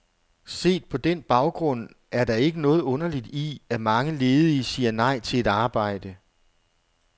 Set på den baggrund, er der ikke noget underligt i, at mange ledige siger nej til et arbejde.